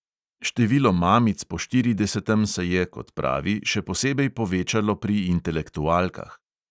Število mamic po štiridesetem se je, kot pravi, še posebej povečalo pri intelektualkah.